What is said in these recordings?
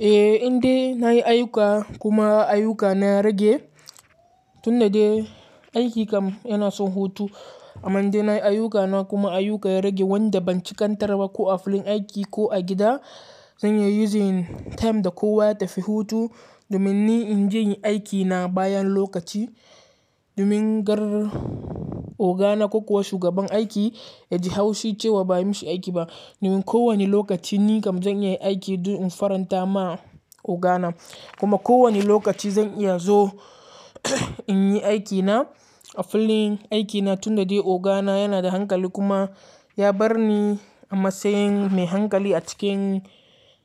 Eh inda nayi ayuka kuma ayuka na rage tun da dai aiki kam yana son hutu. Amma inda nayi ayuka na kuma ayuka ya rage wanda ban cikantar ba ko a filin aiki ko a gida, zan iya yi using time da kowa tafi hutu domin ni in je in yi aiki na bayan lokaci. Domin gar ogana ko kuwa shugaban aiki ya ji haushi cewa ba'ayi mishi aiki ba. Domin ko wane lokaci ni kam zan iya aiki don in faranta ma ogana kuma ko wane lokaci zan iya zo in yi aiki na a filin aiki na tun da dai ogana yana da hankali kuma ya bar ni a matsayin mai hankali a cikin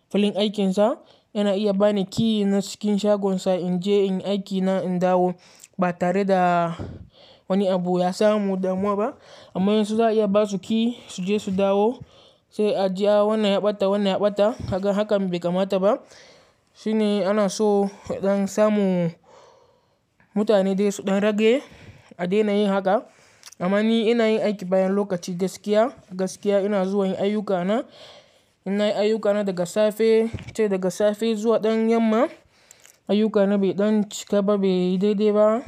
filin aikinsa. Yana iya bani key na cikin shagonsa in je in yi aiki na in dawo ba tare da wani abu ya samu damuwa ba. Amma in su za a iya ba su key su je su dawo sai a ji a wannan ya ɓata wannan ya ɓata kaga hakan bai kamata ba. Shine ana so ɗan samu mutane dai su ɗan rage a daina yin haka. Amma ni ina yin aiki bayan lokaci gaskiya, gaskiya ina zuwa yin ayuka na. In na yi ayuka na daga safe sai daga safe zuwa ɗan yamma. Ayuka na bai ɗan cika ba, bai daidai ba,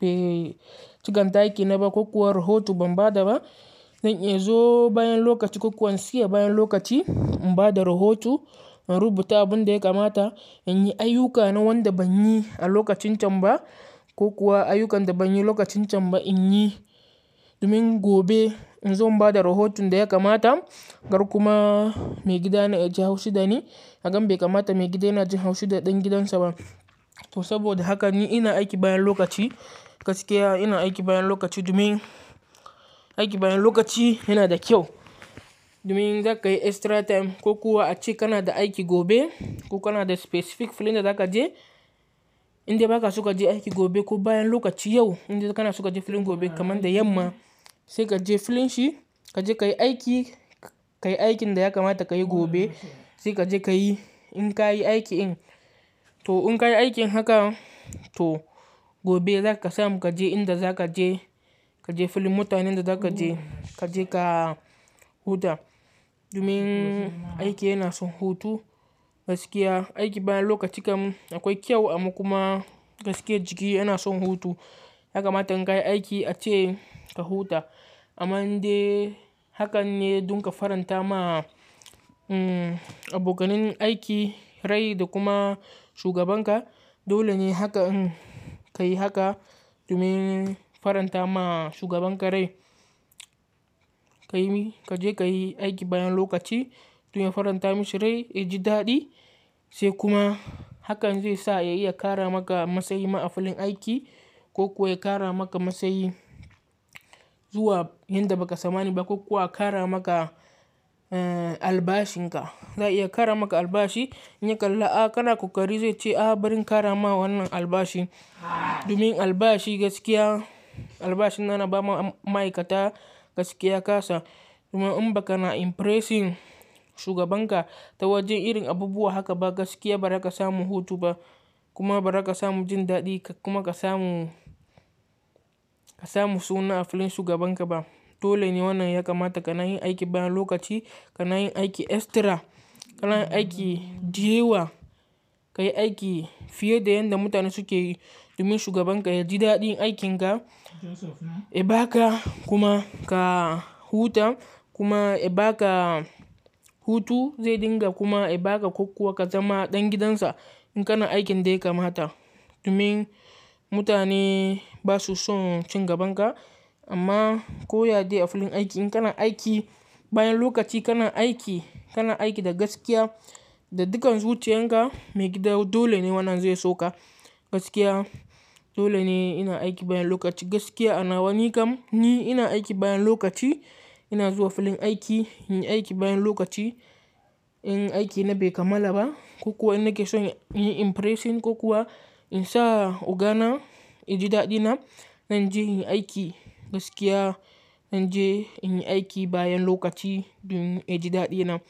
bai cigan taki na ba ko kuwa rahoto ban ba da ba. Zan iya zo bayan lokaci ko kuwa in siya bayan lokaci in ba da rahoto, in rubuta abin da ya kamata, in yi ayuka na wanda ban yi a lokacin can ba ko kuwa ayukan da ban yi lokacin can ba in yi. Domin gobe in zo in ba da rahoton da ya kamata, gar kuma maigida na ya ji haushi da ni. Hakan bai kamata maigida yana jin haushi da ɗan gidansa ba. To saboda haka ni ina aiki bayan lokaci, gaskiya ina aiki bayan lokaci domin aiki bayan lokaci yana da kyau. Domin za ka yi extra time ko kuwa ace kana da aiki gobe ko kana da specific filin da za ka je indai ba ka so ka je aiki gobe ko bayan lokaci yau inda kana suka je filin gobe kamar da yamma. Sai ka je filin shi ka je ka yi aiki, ka yi aikin da ya kamata ka yi gobe. Sai ka je ka yi in ka yi aiki in. To in ka yi aikin haka to gobe za ka samu ka je inda za ka je, ka je filin mutanen da za ka je, ka je ka huta. Domin aiki yana son hutu gaskiya. Aiki bayan lokaci kam akwai kyau amma kuma gaskiya jiki yana son hutu. Yakamata in ka yi aiki ace ka huta. Amma inda hakan ne dun ka faranta ma, umm abokanin aiki rai da kuma shugabanka. Dole ne haka in ka yi haka domin faranta ma shugabanka rai. Ka yi ka je ka yi aiki bayan lokaci domin faranta mishi rai, ya ji daɗi sai kuma hakan zai sa ya iya kara maka matsayi ma a filin aiki ko kuwa ya kara maka matsayi zuwa inda ba ka tsamani ba ko kuwa a kara maka, eh albashin ka. Za'a iya kara maka albashi in ya kalla a kana ƙoƙari zai ce a bari in kara ma wannan albashi. Domin albashi gaskiya, albashin na na ba ma ma'aikata gaskiya kasa. Kuma in ba kana impressing shugabanka ta wajen irin abubuwa haka ba gaskiya ba za ka samu hutu ba kuma ba za ka samu jin daɗi ka kuma ka samu, ka samu suna a filin shugabanka ba. Dole ne wannan ya kamata ka na yin aiki bayan lokaci, ka na yin aiki extra, ka na yin aiki diyawa. Ka yi aiki fiye da yanda mutane suke yi domin shugabanka ya ji daɗin aikinka. Ya baka kuma ka huta kuma ya baka hutu zai dinga kuma ya baka ko kuwa ka zama ɗan gidansa in kana aikin dai ya kamata. Domin mutane ba su son cin gaban ka amma ko ya dai a filin aiki in kana aiki bayan lokaci kana aiki, kana aiki da gaskiya da dukkan zuciyan ka maigida dole ne wannan zai so ka gaskiya. Dole ne ina aiki bayan lokaci gaskiya a nawa nikam ni ina aiki bayan lokaci ina zuwa filin aiki, in yi aiki bayan lokaci in aiki na bai kamala ba ko kuwa ina ke son in yi impressing ko kuwa in sa ogana ya ji daɗina zan je in yi aiki gaskiya, zan je in yi aiki bayan lokaci domin ya ji daɗina.